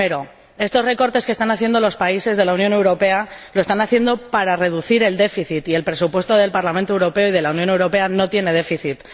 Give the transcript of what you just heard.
Primero, estos recortes que están aplicando los países de la Unión Europea los están haciendo para reducir el déficit y el presupuesto del Parlamento Europeo y de la Unión Europea no tiene déficit.